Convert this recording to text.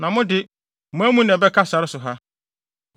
Na mo de, mo amu na ɛbɛka sare so ha.